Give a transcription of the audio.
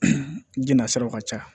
N jina saraw ka ca